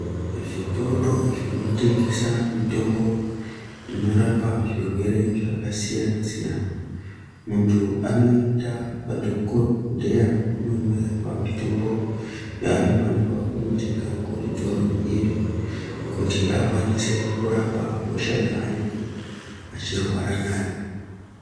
Zvitoro zvinotengesa mitombo inorapa zvirwere zvakasiyana siyana, muntu anoenda kwadhokodheya ononyorerwa mitombo yaanofanirwa kunotenga kuzvitoro izvi kuti akwanise kurapa hosha yaanenge achirwara nayo.